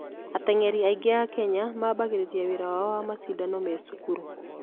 Ateng'eri aingĩ a Kenya mambĩrĩria wĩra wao na macindano ma cukuru.